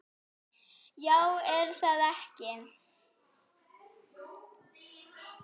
Já er það ekki?